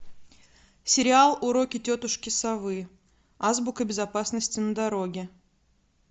сериал уроки тетушки совы азбука безопасности на дороге